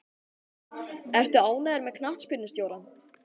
Ertu ánægður með knattspyrnustjórann?